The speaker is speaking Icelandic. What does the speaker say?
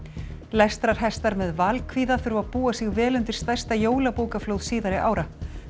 lestrarhestar með þurfa að búa sig vel undir stærsta jólabókaflóð síðari ára